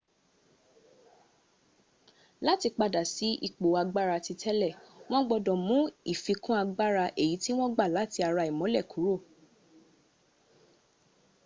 láti padà sí ipò agbára titélè wọn gbọdọ̀ mú ìfikún agbára èyí tí wọn gba láti ara ìmólẹ̀ kúrò